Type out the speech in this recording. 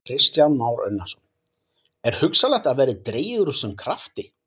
Kristján Már Unnarsson: Er hugsanlegt að það verði dregið úr þessum krafti?